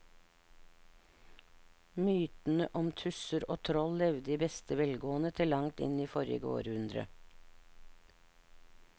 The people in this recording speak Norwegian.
Mytene om tusser og troll levde i beste velgående til langt inn i forrige århundre.